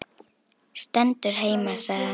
Stendur heima sagði hann.